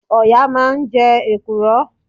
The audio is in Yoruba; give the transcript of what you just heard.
Ọ̀yà máa ń jẹ èkùrọ́.